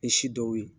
Ni si dɔw ye